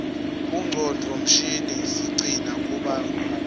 bongcondvo mshini siqcina kubo lwati